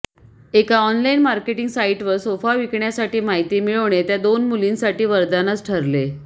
एका online marketing साइटवर sofa विकण्यासाठी माहिती मिळविणे त्या दोन मुलींसाठी वरदानच ठरले